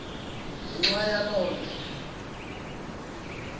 ngenxa yaloo nto